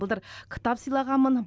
былтыр кітап сыйлағанмын